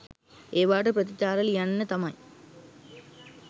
ඒවාට ප්‍රතිප්‍රතිචාර ලියන්න තමයි